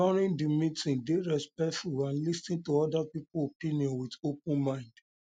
during di meeting dey respectful and lis ten to oda people opinion with open mind open mind